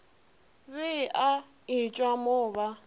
be a etšwa mo ba